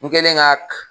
N kɛlen ka